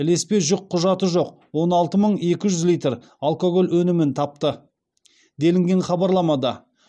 ілеспе жүкқұжаты жоқ он алты мың екі жүз литр алкоголь өнімін тапты делінген хабарламада